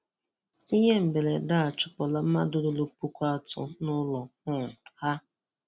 Ihe mberede a achụpụla mmadụ ruru pụkụ atọ n'ụlo um ha